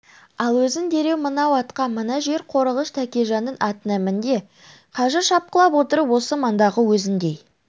ал өзің дереу мынау атқа мына жер қорығыш тәкежанның атына мін де қазір шапқылап отырып осы маңдағы өзіңдей